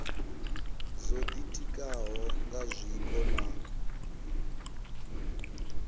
dzo ditikaho nga zwiko na